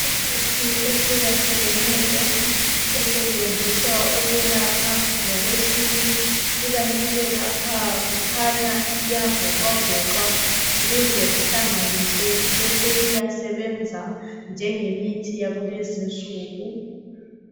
Imithi ehlukahlukeneyo esetshenziswa ukwelapha ngokwesintu, ikanti ke lapha kukhanya iyavoxwavoxwa ukuze ihlanganiswe bese iyasebenza njengemithi yakulezinsuku.